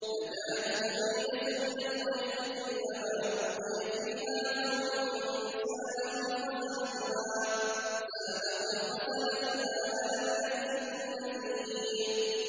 تَكَادُ تَمَيَّزُ مِنَ الْغَيْظِ ۖ كُلَّمَا أُلْقِيَ فِيهَا فَوْجٌ سَأَلَهُمْ خَزَنَتُهَا أَلَمْ يَأْتِكُمْ نَذِيرٌ